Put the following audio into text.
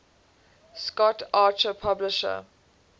scott archer published